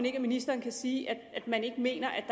ikke at ministeren kan sige at han ikke mener at